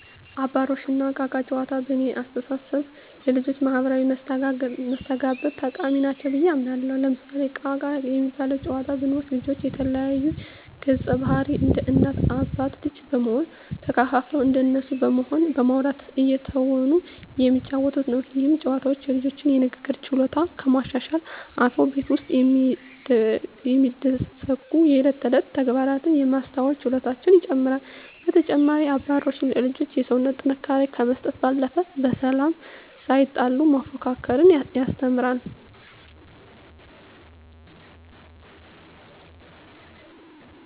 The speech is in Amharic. አባሮሽ እና እቃ እቃ ጨዋታዎች በእኔ አስተሳሰብ ለልጆች ማህበራዊ መስተጋብር ጠቃሚ ናቸው ብየ አምናለሁ። ለምሳሌ እቃ እቃ የሚባለውን ጨዋታ ብንወስድ ልጆች የተለያዩ ገፀባህርይ እንደ እናት አባት ልጅ በመሆን ተከፋፍለው እንደነሱ በመሆን በማዉራት እየተወኑ የሚጫወቱት ነው። ይህ ጨዋታ የልጆቹን የንግግር ችሎታ ከማሻሻልም አልፎ ቤት ውስጥ የሚደሰጉ የእለት ተእለት ተግባራትን የማስተዋል ችሎታቸውን ይጨመራል። በተጨማሪም አባሮሽ ለልጆች የሰውነት ጥንካሬ ከመስጠት ባለፈ በሰላም ሳይጣሉ መፎካከርን ያስተምራል።